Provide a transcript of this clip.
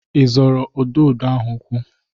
Ị zọrọ ududo ahụ ụkwụ?